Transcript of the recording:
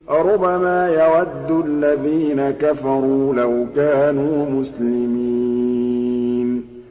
رُّبَمَا يَوَدُّ الَّذِينَ كَفَرُوا لَوْ كَانُوا مُسْلِمِينَ